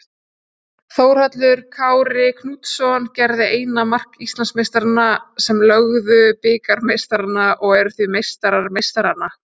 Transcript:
Þórhallur Kári Knútsson gerði eina mark Íslandsmeistaranna sem lögðu bikarmeistarana og eru því meistarar meistaranna.